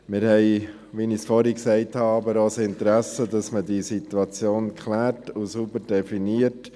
Wir haben jedoch, wie ich bereits erwähnt habe, auch ein Interesse dran, dass man diese Situation klärt und sauber definiert.